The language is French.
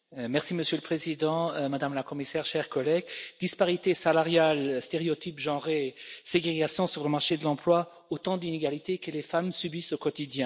Monsieur le Président, Madame la Commissaire, chers collègues, disparités salariales, stéréotypes de genre, ségrégations sur le marché de l'emploi, autant d'inégalités que les femmes subissent au quotidien.